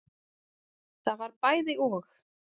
Það var bæði og.